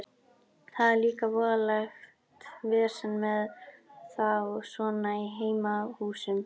Það er líka voðalegt vesen með þá svona í heimahúsum.